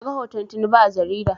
Na ga hoton Tinubu a jarida